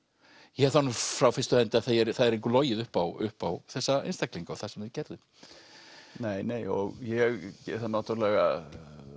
ég hef það nú frá fyrstu hendi að það er engu logið upp á upp á þessa einstaklinga og það sem þeir gerðu nei nei og ég náttúrulega